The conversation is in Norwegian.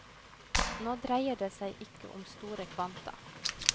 Nå dreier det seg ikke om store kvanta.